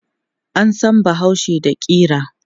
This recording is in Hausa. An san bahaushe da ƙira.